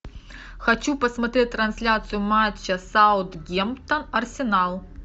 хочу посмотреть трансляцию матча саутгемптон арсенал